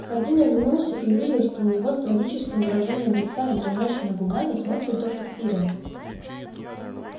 хардин оглянулся и увидел что на него с трагическим выражением лица и дрожащими губами смотрит доктор пиренн